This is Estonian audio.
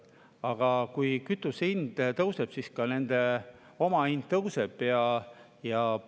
Aga kui kütuse hind tõuseb, siis ka omahind tõuseb.